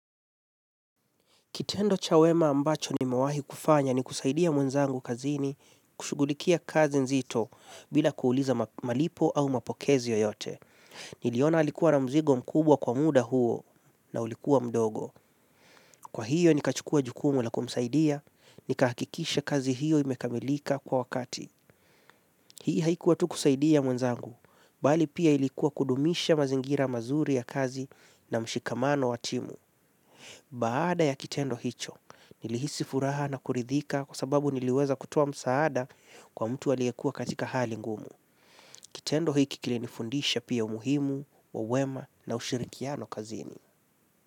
Kitendo cha wema ambacho nimewahi kufanya ni kusaidia mwenzangu kazini kushughulikia kazi nzito bila kuuliza malipo au mapokezi yoyote. Niliona alikuwa na mzigo mkubwa kwa muda huo na ulikuwa mdogo. Kwa hiyo nikachukua jukumu la kumsaidia, nikahakikisha kazi hiyo imekamilika kwa wakati. Hii haikuwa tu kusaidia mwenzangu, bali pia ilikuwa kudumisha mazingira mazuri ya kazi na mshikamano wa timu. Baada ya kitendo hicho, nilihisi furaha na kuridhika kwa sababu niliweza kutoa msaada kwa mtu aliyekua katika hali ngumu. Kitendo hiki kilinifundisha pia umuhimu, wa wema na ushirikiano kazini.